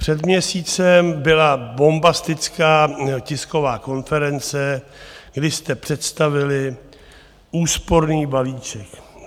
Před měsícem byla bombastická tisková konference, kdy jste představili úsporný balíček.